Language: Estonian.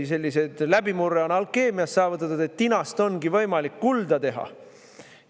Selline läbimurre on alkeemias saavutatud, tinast ongi võimalik kulda teha.